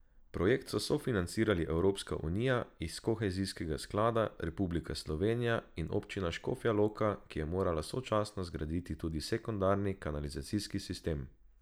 Projekt so sofinancirali Evropska unija iz kohezijskega sklada, Republika Slovenija in Občina Škofja Loka, ki je morala sočasno zgraditi tudi sekundarni kanalizacijski sistem.